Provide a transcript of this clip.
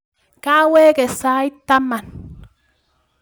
Kawekee sait taman